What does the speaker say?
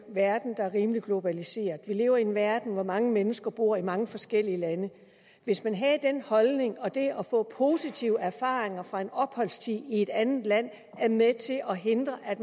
verden der er rimelig globaliseret vi lever i en verden hvor mange mennesker bor i mange forskellige lande hvis man havde den holdning at det at få positive erfaringer fra en opholdstid i et andet land er med til at hindre at